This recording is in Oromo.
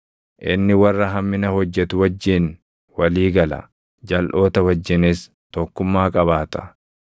Inni warra hammina hojjetu wajjin walii gala; jalʼoota wajjinis tokkummaa qabaata.